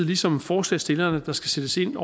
ligesom forslagsstillerne at der skal sættes ind